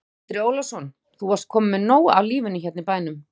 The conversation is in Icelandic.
Andri Ólafsson: Þú varst kominn með nóg af lífinu hérna í bænum?